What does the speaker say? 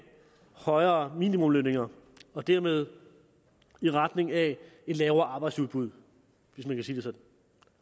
højere minimumslønninger og dermed i retning af et lavere arbejdsudbud hvis man kan sige det sådan